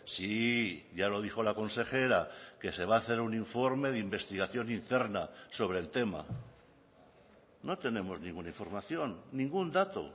sí ya lo dijo la consejera que se va a hacer un informe de investigación interna sobre el tema no tenemos ninguna información ningún dato